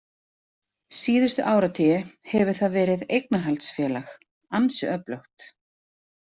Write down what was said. Seinustu áratugi hefur það verið eignarhaldsfélag, ansi öflugt.